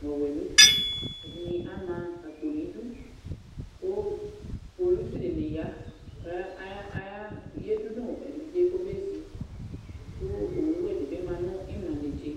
nʋ ɔwɛ nʋ uti, ɛdɩnɩ ama akpo nʋ idu kʋ kpolusi dɩnɩ ya kʋ aya ya yǝdu nʋ evidze yɛ kɔbezi kʋ owuwɛ dɩ bɩ ma nʋ ɩmla netse